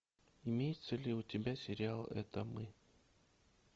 имеется ли у тебя сериал это мы